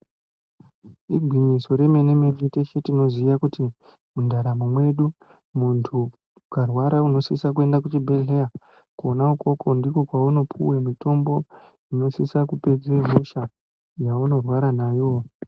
Igwinyiso remene mene teshe tinoziye kuti mundaramo mwedu teshe tinosisa kuende kuchibhedhleya kwona ukoko ndiko kwaunopuwa mutombo inosisa kupedze hosha yaunorwara nayo